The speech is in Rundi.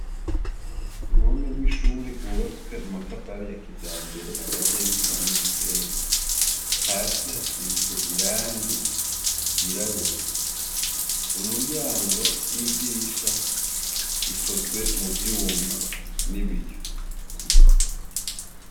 Uruhome rwishure rwubatswe namatafari ya kijambere akaziye n'isima n'umusenyi hasi hasize irangi ryirabura umuryango n'idirisha bikozwe mu vyuma n'ibiyo.